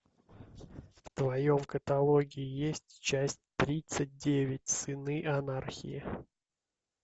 в твоем каталоге есть часть тридцать девять сыны анархии